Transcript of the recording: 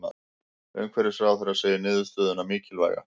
Umhverfisráðherra segir niðurstöðuna mikilvæga